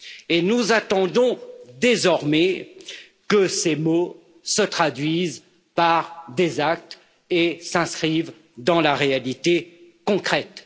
Et nous attendons désormais que ces mots se traduisent par des actes et s'inscrivent dans la réalité concrète.